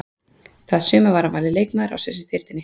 Það sumar var hann valinn leikmaður ársins í deildinni.